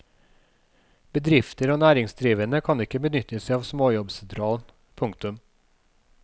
Bedrifter og næringsdrivende kan ikke benytte seg av småjobbsentralen. punktum